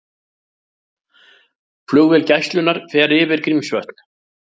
Flugvél Gæslunnar fer yfir Grímsvötn